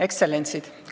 Ekstsellentsid!